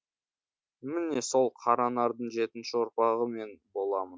міне сол қара нардың жетінші ұрпағы мен боламын